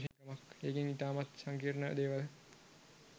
ඒකෙන් ඉතාමත් සංකීර්ණ දේවල්